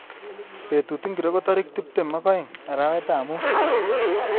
Betut ngiro ko tarik tuptem ak aeng arawetab muut